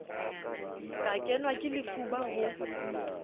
ka kenwa ke lefuba ho